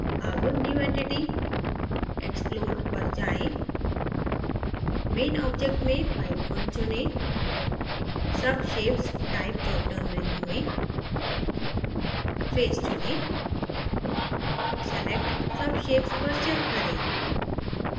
अब new entity>> explode पर जाएँ main object में pipe _ 1 चुनें subshapes type drop down menu में face चुनें select subshapes पर check करें